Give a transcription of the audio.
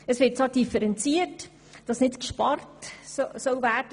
Es wird zwar differenziert, dass nicht einfach gespart werden solle.